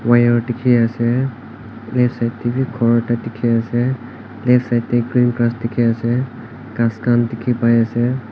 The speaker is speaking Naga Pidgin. wire dikhi ase left side teh wii ghor ekta dikhi ase left side teh green grass dikhi ase ghas khan dikhipai ase.